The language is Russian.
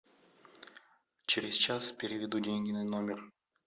через час переведу деньги на номер